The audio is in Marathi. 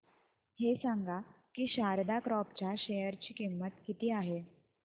हे सांगा की शारदा क्रॉप च्या शेअर ची किंमत किती आहे